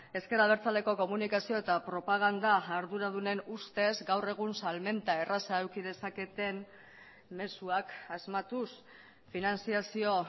ezker abertzaleko komunikazio eta propaganda arduradunen ustez gaur egun salmenta erraza eduki dezaketen mezuak asmatuz finantzazio